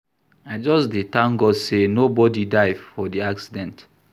I just dey tank God sey nobodi die for di accident.